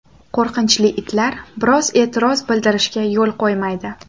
Qo‘rqinchli itlar birov e’tiroz bildirishiga yo‘l qo‘ymaydi.